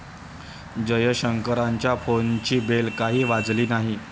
जयशंकरांच्या फोनची बेल काही वाजली नाही.